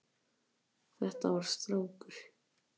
Þetta var strákur.